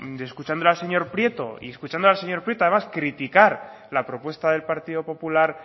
escuchando al señor prieto y escuchando al señor prieto además criticar la propuesta del partido popular